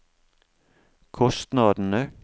kostnadene